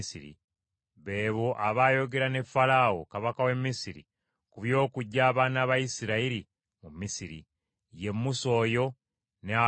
Be bo abaayogera ne Falaawo, kabaka w’e Misiri, ku by’okuggyayo abaana ba Isirayiri mu Misiri. Ye Musa oyo, ne Alooni oyo.